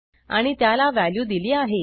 आणि त्याला व्हॅल्यू दिली आहे